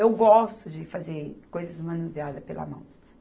Eu gosto de fazer coisas manuseadas pela mão.